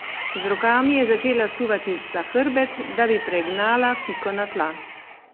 Z rokami je začela suvati za hrbet, da bi pregnala Piko na tla.